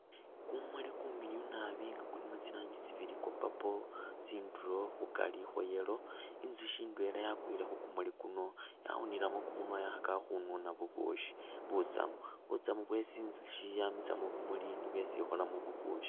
Kumuli kumiliyu nabi nga kulimu tsi rangi tsibili kwa purple, tsindulo khukari khwa yellow, inzusyi yawile khu kumuli kuno yawunilemu kumunwa khekhakakhi khununamu bubusyi. Butsamu bwesi inzusyi yamisa mu bimuli nibwo esi ikholamu bubusyi.